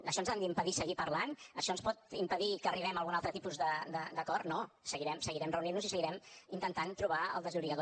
això ens ha d’impedir seguir parlant això ens pot impedir que arribem a algun altre tipus d’acord no seguirem reunint nos i seguirem intentant trobar el desllorigador